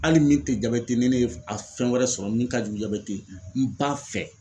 Hali min te jabɛti ni ne ye f a fɛn wɛrɛ sɔrɔ min ka jugu jabɛti ye n b'a fɛ.